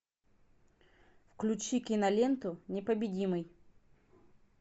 включи киноленту непобедимый